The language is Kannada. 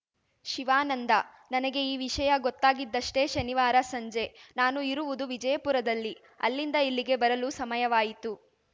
ಶಿವಾನಂದ ನನಗೆ ಈ ವಿಷಯ ಗೊತ್ತಾಗಿದಷ್ಟೆ ಶನಿವಾರ ಸಂಜೆ ನಾನು ಇರುವುದು ವಿಜಯಪುರದಲ್ಲಿ ಅಲ್ಲಿಂದ ಇಲ್ಲಿಗೆ ಬರಲು ಸಮಯವಾಯಿತು